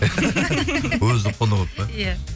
өзі құнығып па иә